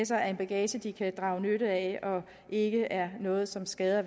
sig er en bagage de kan drage nytte af og ikke er noget som skader